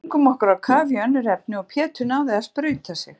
Við stungum okkur á kaf í önnur efni og Pétur náði að sprauta sig.